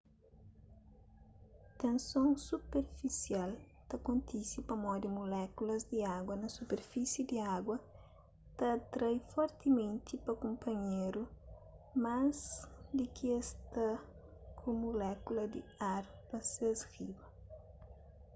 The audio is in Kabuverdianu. tenson superfisial ta kontise pamodi mulékulas di agu na superfísi di agu ta atrai fortimenti pa kunpanhéru más di ki es ta ku mulékulas di ar pa ses riba